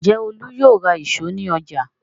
Ǹjẹ́ Olú yóò ra ìṣó ní ọjà?